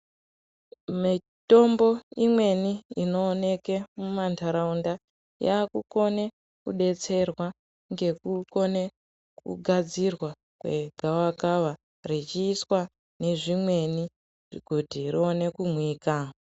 Mitombo imweni inooneke mumantharaunda yaakukone kudetserwa ngekukone kugadzirwa kwegavakava rechiiswa nezvimweni kuti rione kumwika.